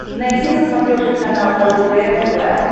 найди на смотрешке канал лдпр тв